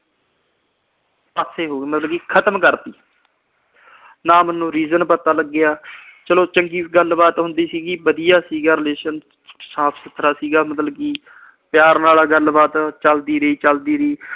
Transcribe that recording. ਪਾਸੇ ਹੋ ਗਈ, ਮਤਲਬ ਕਿ ਖਤਮ ਕਰਤੀ। ਨਾ ਮੈਨੂੰ reason ਪਤਾ ਲੱਗਿਆ। ਚਲੋ ਚੰਗੀ ਗੱਲਬਾਤ ਸੀਗੀ, ਵਧੀਆ ਸੀਗਾ relation ਸਾਫ ਸੁਥਰਾ ਸੀਗਾ ਮਤਲਬ ਕਿ। ਪਿਆਰ ਨਾਲ ਗੱਲਬਾਤ ਚੱਲਦੀ ਰਹੀ, ਚੱਲਦੀ ਰਹੀ।